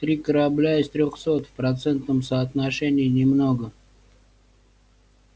три корабля из трёхсот в процентном соотношении немного